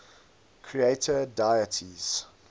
creator deities